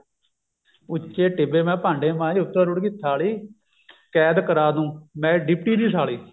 ਉੱਚੇ ਟਿੱਬੇ ਮੈਂ ਭਾਂਡੇ ਮਾਂਜਦੀ ਉੱਤੋਂ ਰੁੜ ਗਈ ਥਾਲੀ ਕੈਦ ਕਰਾ ਦੂਂ ਮੈਂ ਡਿਪਟੀ ਦੀ ਸਾਲੀ